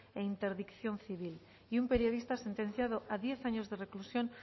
e interdicción civil y un periodista sentenciado a diez años de reclusión